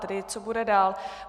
Tedy co bude dál.